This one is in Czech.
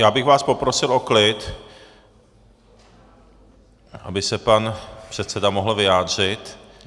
Já bych vás poprosil o klid, aby se pan předseda mohl vyjádřit.